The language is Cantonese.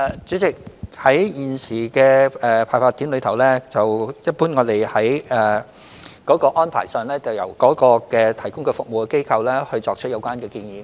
主席，就現時的派發點，我們一般的安排是由提供服務的機構作出有關建議。